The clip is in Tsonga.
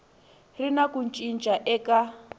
ri na ku cinca eka